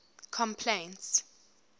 complaints